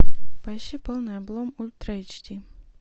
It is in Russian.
поищи полный облом ультра эйч ди